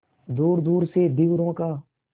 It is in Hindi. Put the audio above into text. दूरदूर से धीवरों का